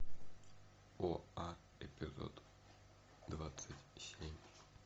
оа эпизод двадцать семь